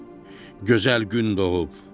Gözəl gün doğub.